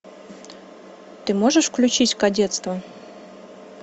ты можешь включить кадетство